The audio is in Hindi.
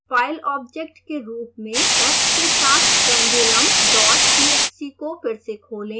file object के रूप में f के साथ pendulumtxt को फिर से खोलें